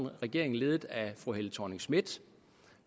regering ledet af fru helle thorning schmidt